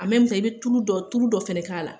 bɛ i bɛ tulu dɔ tulu dɔ fɛnɛ k'a la,